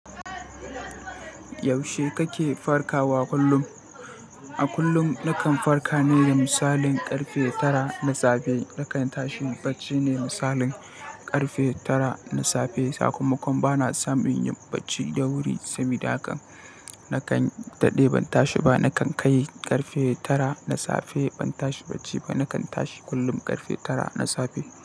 Yaushe kake farkawa kullum? A kullum nakan farka ne da misalin ƙarfe tara na safe. Nakan tashi bacci ne misalin ƙarfe tara na safe. Sakamakon bana samun yin bacci da wuri, sabida haka nakan daɗe ban tashi ba. Nakan kai ƙarfe tara na safe ban tashi bacci ba. Nakan tashi kullum ƙarfe tara na safe.